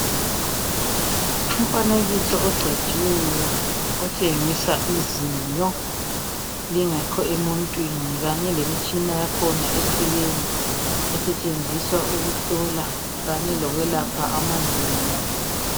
Umfanekiso ogcotshiweyo otshengisa izinyo lingekho emuntwini kanye lemitshina yakhona eceleni. Isetshenziswa ukuhlola kanye lokwelapha amazinyo.